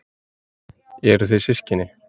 Eruð þið systkini?